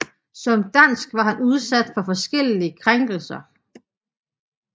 Som dansk var han udsat for forskellige krænkelser